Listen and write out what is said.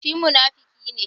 Shi munafuki ne.